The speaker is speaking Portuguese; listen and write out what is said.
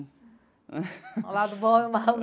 O lado bom e o lado.